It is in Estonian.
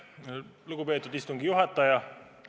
Lugupeetud istungi juhataja!